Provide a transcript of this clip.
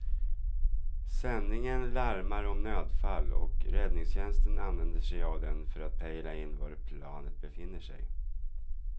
Sändningen larmar om nödfall och räddningstjänsten använder sig av den för att pejla in var planet befinner sig.